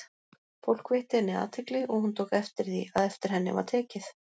Fólk veitti henni athygli, og hún tók eftir því, að eftir henni var tekið.